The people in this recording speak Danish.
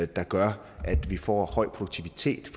der gør at vi får en høj produktivitet